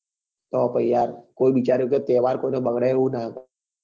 તો પછી યાર કોઈ બિચારું કે તહેવાર કોઈ નો બગડે એવું નાં કરાય